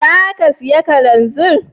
Za ka saya kananzir?